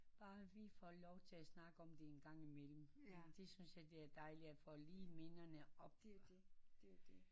Bare vi får lov til at snakke om det engang imellem det synes jeg det er dejligt at få lige minderne op